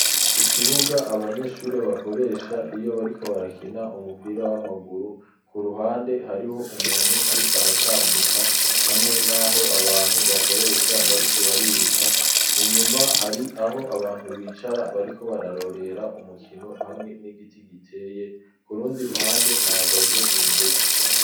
Ikibuga abanyeshuri bakoresha iyo bariko barakina umupira w'amaguru ku ruhande hariho umuntu ariko aratambuka hamwe n'aho abantu bakoresha bariko bariruka inyuma hari aho abantu bicara bariko bararorera umukino hamwe n'igiti giteye kurundi ruhande hahagaze imiduga.